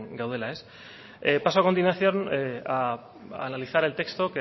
gaudela paso a continuación a analizar el texto